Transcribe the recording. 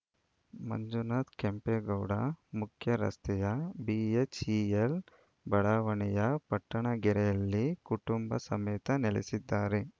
ಮಂಜುನಾಥ್‌ ಕೆಂಪೇಗೌಡ ಮುಖ್ಯರಸ್ತೆಯ ಬಿಎಚ್‌ಇಎಲ್‌ ಬಡಾವಣೆಯ ಪಟ್ಟಣಗೆರೆಯಲ್ಲಿ ಕುಟುಂಬ ಸಮೇತ ನೆಲೆಸಿದ್ದಾರೆ